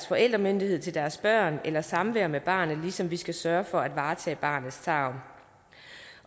forældremyndigheden til deres børn eller samvær med barnet ligesom vi skal sørge for at varetage barnets tarv